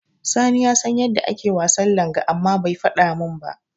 Sani ya san yadda ake wasan langa amma bai faɗa min ba.